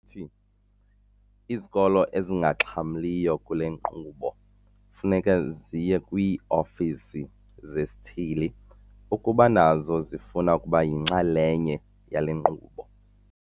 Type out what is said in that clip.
Uthi izikolo ezingaxhamliyo kule nkqubo kufuneka ziye kwii-ofisi zesithili ukuba nazo zifuna ukuba yinxalenye yale nkqubo.